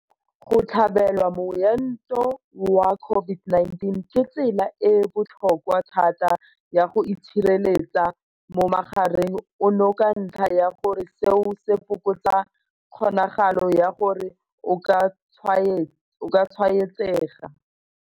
Go tlhabelwa moento wa COVID-19 ke tsela e e botlhokwa thata ya go itshireletsa mo mogareng ono ka ntlha ya gore seo se fokotsa kgonagalo ya gore o ka tshwaetsega.